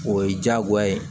O ye diyagoya ye